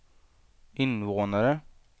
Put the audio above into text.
invånare